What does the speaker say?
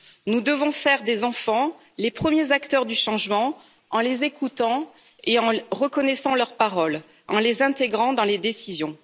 Nous devons faire des enfants les premiers acteurs du changement, en les écoutant et en reconnaissant leur parole, en les intégrant dans les décisions.